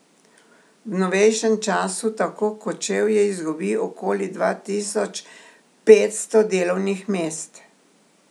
V novejšem času tako Kočevje izgubi okoli dva tisoč petsto delovnih mest.